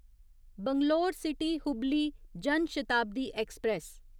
Bangalore city Hubli Jan Shatabdi express